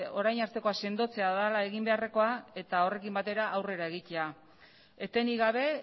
orain artekoa sendotzea dela egin beharrekoa eta horrekin batera aurrera egitea etenik gabe